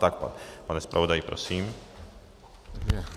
Tak, pane zpravodaji, prosím.